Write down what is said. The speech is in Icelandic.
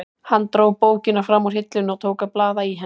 Hann dró bókina fram úr hillunni og tók að blaða í henni.